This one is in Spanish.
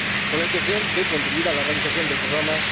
con la intención de contribuir a la realización de dicho programa.